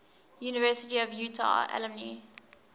university of utah alumni